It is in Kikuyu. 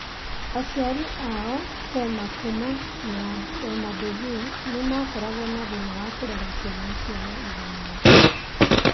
Aciari ao, Prema Kumar na Rema Devi, nĩ makoragwo na thĩna wa kũrera ciana ciao ithano.